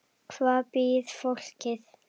Hvar býr fólkið?